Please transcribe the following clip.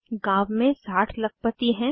गांव में 60 लखपति हैं